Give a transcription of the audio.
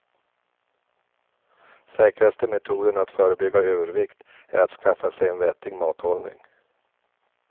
Säkraste metoden att förebygga övervikt är att skaffa sig en vettig mathållning.